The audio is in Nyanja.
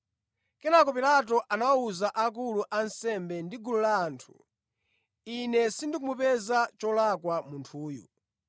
Kenaka Pilato anawawuza akulu a ansembe ndi gulu la anthu, “Ine sindikumupeza cholakwa munthuyu.”